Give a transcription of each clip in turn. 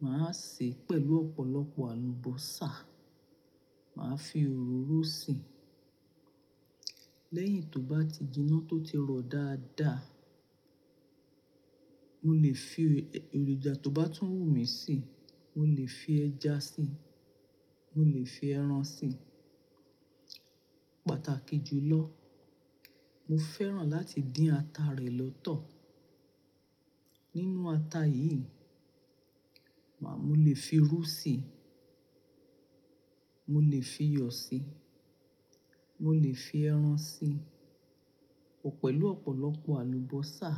Màá sè pẹ̀lú ọ̀pọ̀lọpọ̀ àlùbọ́sà. Màá fi òróró si. Lẹ́yìn tó bá ti jiná tó ti rọ dáadáa, mo lè fi èròjà tó bá tún wù mí sí. Mo lè fi ẹja sí i, mo lè fi ẹran sí i. Pàtàkì jù lọ, mo fẹ́ràn láti dín ata rẹ̀ lọ́tọ̀. Nínú ata yìí, màá-- mo lè fi irú sí i, mo lè fi iyọ̀ sí i, mo lè fi ẹran sí i pẹ̀lú ọ̀pọ̀lọpọ̀ àlùbọ́sà.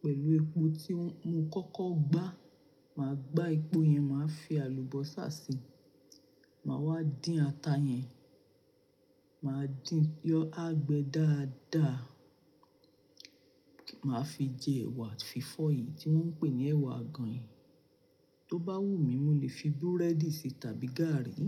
Pẹ̀lú epo tí mo kọ́kọ́ gbá, màá gbá epo yẹn, màá fi àlùbọ́sà sí i. Màá wá dín ata yẹn, màá dín yọ́ agbe dáadáa. Màá fi jẹ ẹ̀wà fífọ́ yìí tí wọ́n ń pè ní ẹ̀wà àgànyìn. Tó bá wù mí, mo lè fi búrẹ́dì ṣe tàbí gààrí.